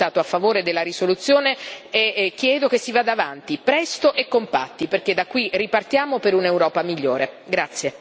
Perciò ho votato a favore della risoluzione e chiedo che si vada avanti, presto e compatti, perché da qui ripartiamo per un'Europa migliore.